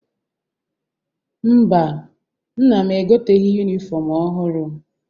Mba, nna m egoteghi yunifọmụ ọhụrụ.